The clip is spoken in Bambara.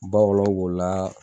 Bawɔlɔ b'o la.